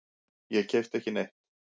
Ég keypti ekki neitt.